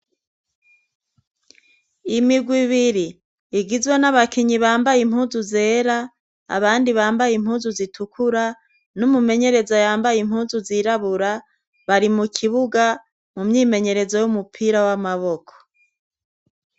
Imigwa ibiri igizwe n'abakinyi bambaye impuzu zera abandi bambaye impuzu zitukura n'umumenyerezo yambaye impuzu zirabura bari mu kibuga mu myimenyerezo y'umupira w'amaboko.